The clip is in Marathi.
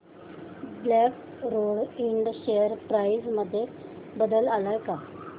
black Rose Ind share price मध्ये बदल आलाय का